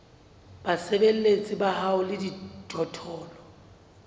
basebeletsi ba hao le dijothollo